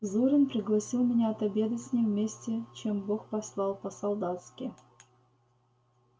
зурин пригласил меня отобедать с ним вместе чем бог послал по-солдатски